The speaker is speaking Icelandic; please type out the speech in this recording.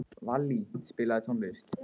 Vallý, spilaðu tónlist.